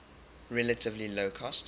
relatively low cost